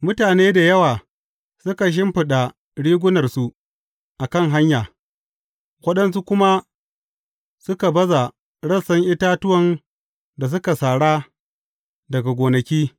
Mutane da yawa suka shimfiɗa rigunarsu a kan hanya, waɗansu kuma suka baza rassan itatuwan da suka sara daga gonaki.